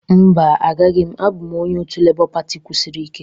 Mba, agaghị m. Abụ m onye otu Labour pati kwusiri ike.